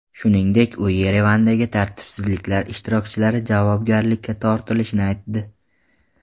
Shuningdek, u Yerevandagi tartibsizliklar ishtirokchilari javobgarlikka tortilishini aytdi.